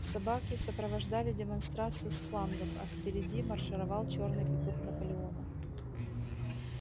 собаки сопровождали демонстрацию с флангов а впереди маршировал чёрный петух наполеона